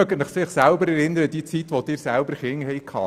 Denken Sie an die Zeit zurück, als Sie selber kleine Kinder hatten: